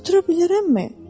Otura bilərəmmi?